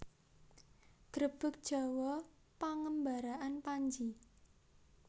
Grebeg Jawa pengembaraan Panji